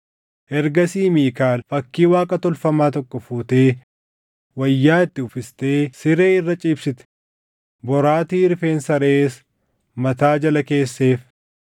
Ergasii Miikaal fakkii Waaqa tolfamaa tokko fuutee wayyaa itti uffiftee siree irra ciibsite; boraatii rifeensa reʼees mataa jala keesseef.